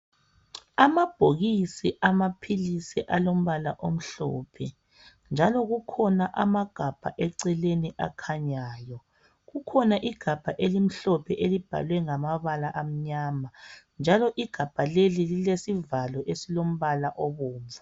Amabhokisi amaphilisi alombala omhlophe njalo kukhona amagabha eceleni akhanyayo kukhona igabha elimhlophe elibhalwe ngamabala amnyama njalo igabha leli lilesivalo esilombala obomvu.